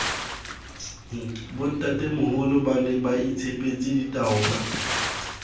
bontatemoholo ba ne baitshepetse ditaola